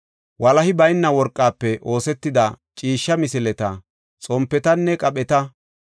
walahi bayna worqafe oosetida ciishsha misileta, xompetanne qapheta,